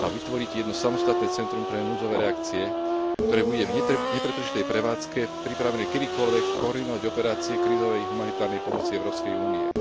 a vytvoriť jedno samostatné centrum pre núdzové reakcie, ktoré bude v nepretržitej prevádzke pripravené kedykoľvek koordinovať operácie krízovej humanitárnej pomoci Európskej únie.